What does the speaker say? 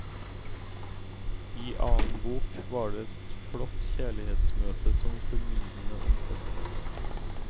I annen bok var det et flott kjærlighetsmøte som formildende omstendighet.